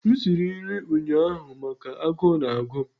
m siri nri ụnyaahụ maka agụụ na-agụ m